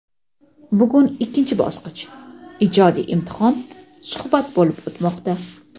Bugun ikkinchi bosqich – ijodiy imtihon (suhbat) bo‘lib o‘tmoqda.